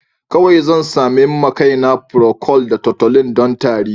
Kawai zan sami ma kaina procold da tutolin don tari.